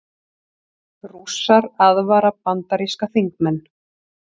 Rússar aðvara bandaríska þingmenn